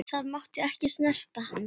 Það mátti ekki snerta hann.